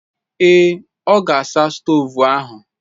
Ee. ọ ga-asa stovu ahụ.